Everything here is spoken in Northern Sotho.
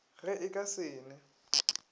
ge e ka se ne